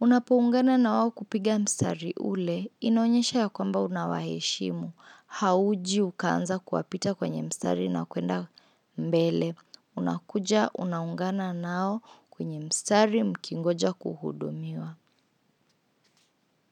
Unapoungana na wao kupiga mstari ule, inaonyesha ya kwamba unawaheshimu. Hauji ukaanza kuwapita kwenye mstari na kuenda mbele. Unakuja unaungana nao kwenye mstari mkingoja kuhudumiwa.